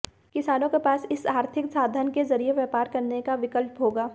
किसानों के पास इस आर्थिक साधन के जरिए व्यापार करने का विकल्प होगा